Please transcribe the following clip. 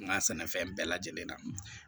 N ka sɛnɛfɛn bɛɛ lajɛlen na